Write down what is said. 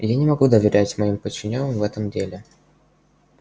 я не могу доверять моим подчинённым в этом деле